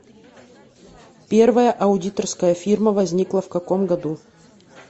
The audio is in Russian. первая аудиторская фирма возникла в каком году